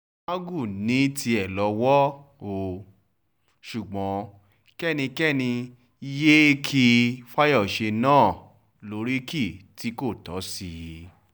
magu ní tiẹ̀ lówó ó ṣùgbọ́n kẹ́nikẹ́ni yéé kí fáyọ́ṣe náà lóríkì tí kò tọ́ sí i